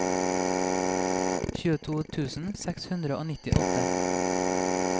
tjueto tusen seks hundre og nittiåtte